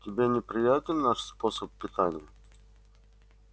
тебе неприятен наш способ питания